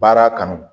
Baara kanu